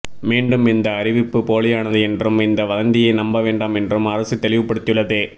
மீண்டும் இந்த அறிவிப்பு போலியானது என்றும் இந்த வதந்தியை நம்ப வேண்டாம் என்றும் அரசு தெளிவுபடுத்தியுள்ளது